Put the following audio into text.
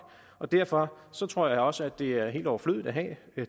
og derfor tror jeg også det er helt overflødigt at have